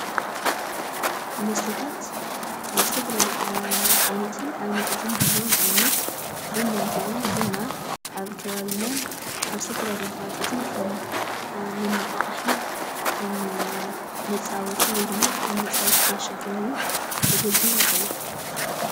መስተታት ዝተፈላለዩ ዓይነታትን ኣብነታትን ይህልዎ፡፡ ንኣብነት ቡና እንተኢልና ቡና ኣብ ከባቢናን ኣብ ዝተፈላሉ ከባቢታትን ከም መነቓቕሒ ከም መፃወቲ ወይ ድም ከም መፃወቲ ጋሻ ኮይኑ ከገልግል ይኽእል እዩ፡፡